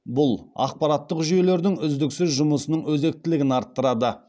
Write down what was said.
бұл ақпараттық жүйелердің үздіксіз жұмысының өзектілігін арттырады